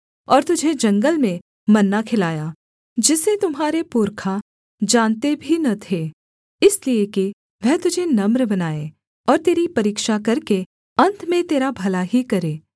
और तुझे जंगल में मन्ना खिलाया जिसे तुम्हारे पुरखा जानते भी न थे इसलिए कि वह तुझे नम्र बनाए और तेरी परीक्षा करके अन्त में तेरा भला ही करे